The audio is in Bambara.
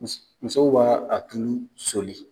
Musow b'a tulu soli.